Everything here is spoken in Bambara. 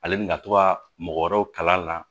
Ale bi na to ka mɔgɔ wɛrɛw kalan a la